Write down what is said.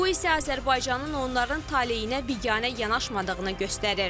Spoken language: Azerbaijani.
Bu isə onların taleyinə biganə yanaşmadığını göstərir.